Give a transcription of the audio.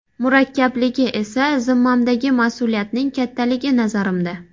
Murakkabligi esa zimmamdagi mas’uliyatning kattaligi, nazarimda.